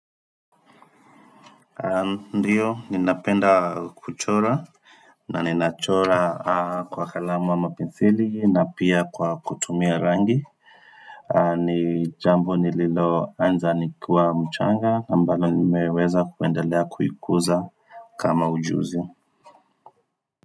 Ndiyo ninapenda kuchora na ninachora kwa kalamu ama penseli na pia kwa kutumia rangi ni jambo nililoanza nikiwa mchanga ambalo nimeweza kuendelea kuikuza kama ujuzi.